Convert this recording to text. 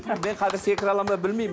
мен қазір секіре аламын ба білмеймін